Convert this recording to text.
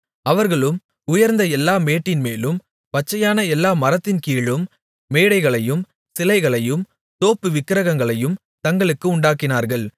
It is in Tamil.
அவர்களும் உயர்ந்த எல்லா மேட்டின் மேலும் பச்சையான எல்லா மரத்தின் கீழும் மேடைகளையும் சிலைகளையும் தோப்புவிக்கிரகங்களையும் தங்களுக்கு உண்டாக்கினார்கள்